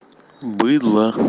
быдло